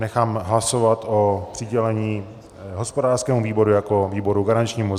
Nechám hlasovat o přidělení hospodářskému výboru jako výboru garančnímu.